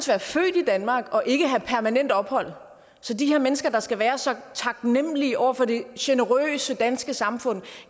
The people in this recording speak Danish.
være født i danmark og ikke have permanent ophold så de her mennesker der skal være så taknemlige over for det generøse danske samfund